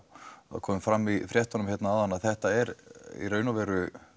það kom fram í fréttunum áðan að þetta er í raun og veru